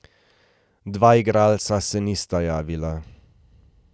Dva igralca se nista javila.